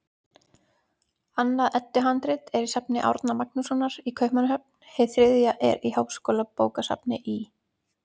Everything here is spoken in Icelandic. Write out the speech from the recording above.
Annað Eddu-handrit er í safni Árna Magnússonar í Kaupmannahöfn, hið þriðja í Háskólabókasafni í